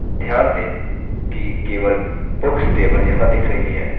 ध्यान दें कि केवल books table यहाँ दिख रही है